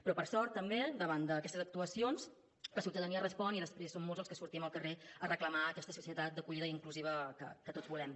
però per sort també davant d’aquestes actuacions la ciutadania respon i després són molts els que sortim al carrer a reclamar aquesta societat d’acollida i inclusiva que tots volem